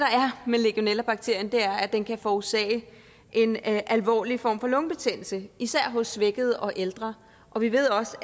med legionellabakterien er at den kan forårsage en alvorlig form for lungebetændelse især hos svækkede og ældre og vi ved også